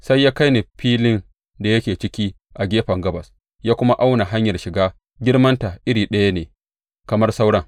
Sai ya kai ni filin da yake ciki a gefen gabas, ya kuma auna hanyar shiga; girmanta iri ɗaya ne kamar sauran.